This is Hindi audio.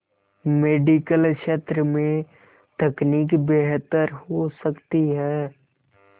मेडिकल क्षेत्र में तकनीक बेहतर हो सकती है